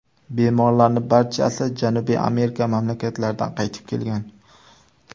Bemorlarning barchasi Janubiy Amerika mamlakatlaridan qaytib kelgan.